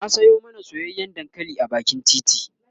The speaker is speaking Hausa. na Sayo mana soyayyan dankali a bakin titi